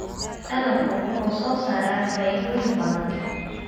Dalaggu wuxuu soo saaraa faa'iidooyin badan.